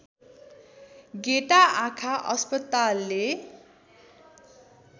गेटा आँखा अस्पतालले